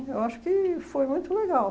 Eu acho que foi muito legal.